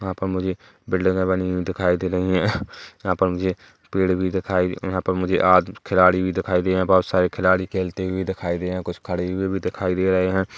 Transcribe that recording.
वहाँ पर मुझे बिल्डिंगे बनी हुई दिखाई दे रही है यहाँ पर मुझे पेड़ भी दिखाई-- यहाँ पर मुझे आ-द खिलाड़ी भी दिखाई दे रहे है बहुत सारे खिलाड़ी खेलते हुए दिखाई दे रहे है कुछ खड़े हुए भी दिखाई दे रहे है।